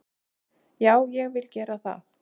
Já, ég vil gera það.